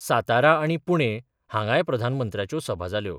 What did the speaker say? सातारा आनी पुणे हांगाय प्रधानमंत्र्याच्यो सभा जाल्यो.